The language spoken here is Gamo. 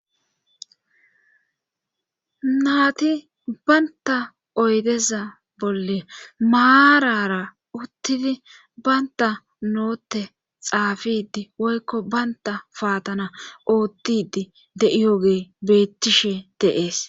naati baynta oydeza bolle maarara uttidi baynta nootte xaafidi woykko baynta paatana oottidi de7iyoge beettishe deees